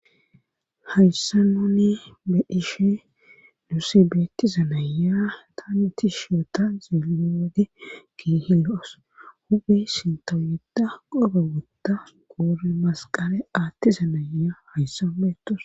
hayssa nuni be dhishe nusi beeti zanaya taniti shiyota ziello wade kihi lo7os hubey sinto yedda qobe wodda qoori masqale aatti zanaya hayssan beetus